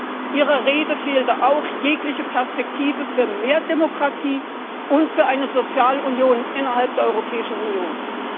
Aber Ihrer Rede fehlte auch jegliche Perspektive für mehr Demokratie und für eine Sozialunion innerhalb der Europäischen Union.